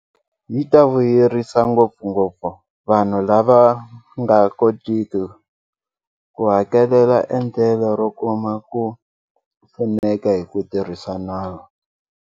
Yi ta vuyerisa ngopfungopfu vanhu lava nga kotiki ku hakelela endlelo ro kuma ku pfuneka hi ku tirhisa nawu.